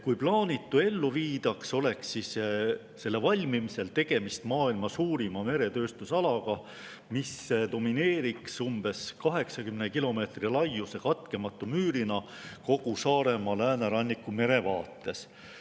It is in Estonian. Kui plaanitu ellu viidaks, oleks selle valmimisel tegemist maailma suurima meretööstusalaga, mis domineeriks umbes 80 kilomeetri laiuse katkematu müürina kogu Saaremaa lääneranniku merevaates.